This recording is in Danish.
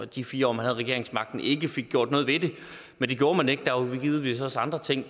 de fire år man havde regeringsmagten ikke fik gjort noget ved det men det gjorde man ikke der var givetvis også andre ting